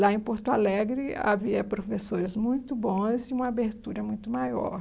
Lá em Porto Alegre havia professores muito bons e uma abertura muito maior.